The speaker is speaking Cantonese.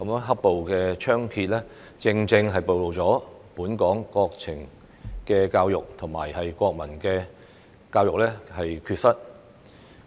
"黑暴"猖獗，正正暴露本港國情教育和國民教育的缺失。